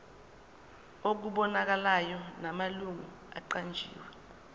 okubonakalayo namalungu aqanjiwe